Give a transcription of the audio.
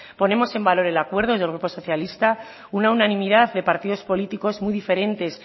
ponemos en valor el acuerdo desde el grupo socialista una unanimidad de partidos políticos muy diferentes